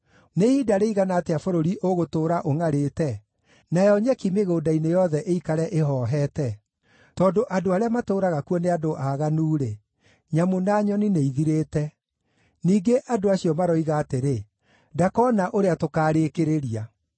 Nĩ ihinda rĩigana atĩa bũrũri ũgũtũũra ũngʼarĩte, nayo nyeki mĩgũnda-inĩ yothe ĩikare ĩhoohete? Tondũ andũ arĩa matũũraga kuo nĩ andũ aaganu-rĩ, nyamũ na nyoni nĩithirĩte. Ningĩ, andũ acio maroiga atĩrĩ, “Ndakoona ũrĩa tũkaarĩkĩrĩria.”